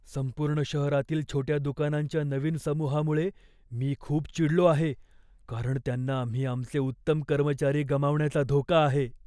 संपूर्ण शहरातील छोट्या दुकानांच्या नवीन समूहामुळे मी खूप चिडलो आहे, कारण त्यांना आम्ही आमचे उत्तम कर्मचारी गमावण्याचा धोका आहे.